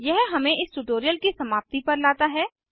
यह हमें इस ट्यूटोरियल की समाप्ति पर लाता है